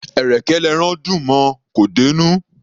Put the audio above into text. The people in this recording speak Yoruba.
Ẹ̀rẹ̀kẹ́ l'ẹran dùn mọ; kò dé'nú.